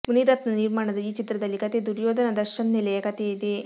ಮುನಿರತ್ನ ನಿರ್ಮಾಣದ ಈ ಚಿತ್ರದಲ್ಲಿ ಕಥೆ ದುರ್ಯೋಧನ ದರ್ಶನ್ ನೆಲೆಯ ಕಥೆಯಿದೆ